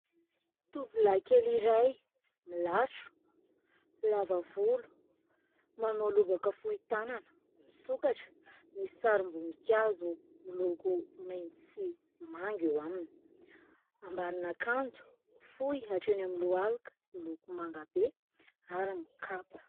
Tovolahy kely iray, milatro, lava volo, manao lobaka fohy tanana misokatra, misy sarim-boninkazo miloko maitso sy manga eo aminy ; ambanin'akanjo fohy hatreny amin'ny lohalika, miloko manga be ary mikapa.